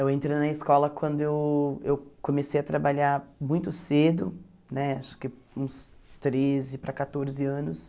Eu entrei na escola quando eu comecei a trabalhar muito cedo, né acho que uns treze para quatorze anos.